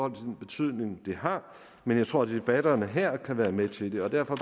den betydning det har men jeg tror debatterne her kan være med til det og derfor